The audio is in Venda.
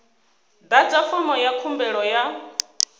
ḓadza fomo ya khumbelo ya